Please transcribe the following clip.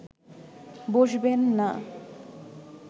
বসবেন না